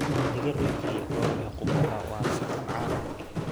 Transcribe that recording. Digir la kariyey oo leh qumbaha waa saxan caan ah.